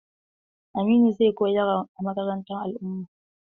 Aminu zai koyar a makarantar al'umma.